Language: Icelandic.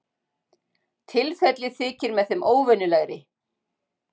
Tilfellið þykir með þeim óvenjulegri